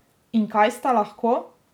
In kaj sta lahko?